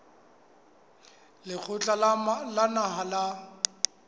wa lekgotla la naha la